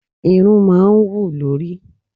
Irun máa ń hù lórí.